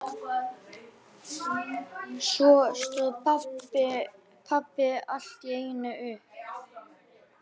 Svo stóð pabbi allt í einu upp.